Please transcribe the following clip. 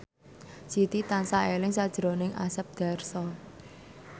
Siti tansah eling sakjroning Asep Darso